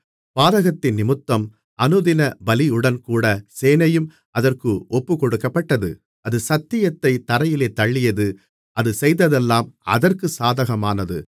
பாதகத்தினிமித்தம் அனுதின பலியுடன்கூட சேனையும் அதற்கு ஒப்புக்கொடுக்கப்பட்டது அது சத்தியத்தைத் தரையிலே தள்ளியது அது செய்ததெல்லாம் அதற்குச் சாதகமானது